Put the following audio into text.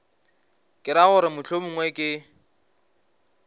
ke ra gore mohlomongwe ke